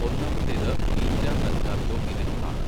ഒന്നാമത്തേത് beta mercaptoethanol ആണ്.